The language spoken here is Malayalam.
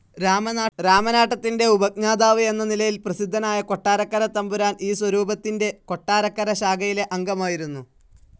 രാമനാട്ടത്തിൻ്റെ ഉപജ്ഞാതാവ് എന്ന നിലയിൽ പ്രസിദ്ധനായ കൊട്ടാരക്കരത്തമ്പുരാൻ ഈ സ്വരൂപത്തിൻ്റെ കൊട്ടാരക്കര ശാഖയിലെ അംഗമായിരുന്നു.